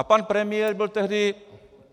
A pan premiér byl tehdy...